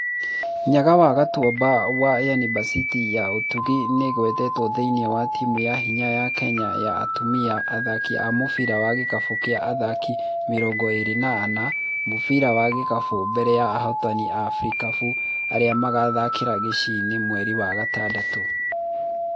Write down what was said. Nyaga wa Gĩtuamba wa Yunibasĩtĩ ya Ùtugi nĩagwetetwo thĩini wa timũ ya hinya ya Kenya ya atumia athaki a mũbira wa gikabũ kĩa athaki mĩrongo ĩĩrĩ na ana a mũbira wa gĩkabũ mbere ya ahotani a Afrikabũ arĩa magathakĩra Gachiĩ mweri wa gatandatũ.